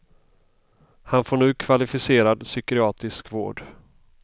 Han får nu kvalificerad psykiatrisk vård.